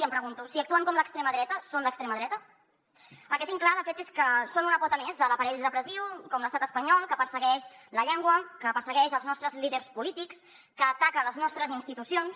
i em pregunto si actuen com l’extrema dreta són l’extrema dreta el que tinc clar de fet és que són una pota més de l’aparell repressiu com l’estat espanyol que persegueix la llengua que persegueix els nostres líders polítics que ataca les nostres institucions